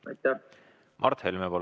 Mart Helme, palun!